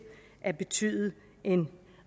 at betyde en